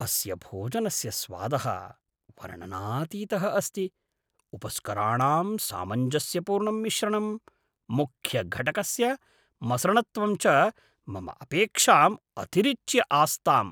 अस्य भोजनस्य स्वादः वर्णनातीतः अस्ति, उपस्कराणां सामञ्जस्यपूर्णं मिश्रणं, मुख्यघटकस्य मसृणत्वं च मम अपेक्षाम् अतिरिच्य आस्ताम्।